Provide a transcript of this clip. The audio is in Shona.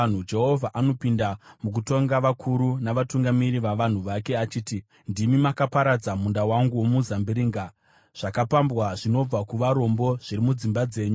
Jehovha anopinda mukutonga vakuru navatungamiri vavanhu vake achiti, “Ndimi makaparadza munda wangu womuzambiringa; zvakapambwa zvinobva kuvarombo zviri mudzimba dzenyu.